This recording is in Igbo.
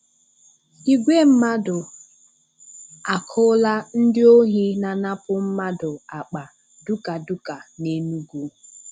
Igwe mmadụ àkụ̀là ndị ohi na-anapụ mmadụ àkpà dukàdùka n’Enugu.